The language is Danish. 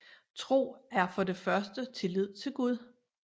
Tro er for det første tillid til Gud